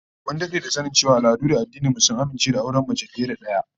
Mun dade da sanin cewa al'adu da addinan mu sun amince da auren mace fiye da daya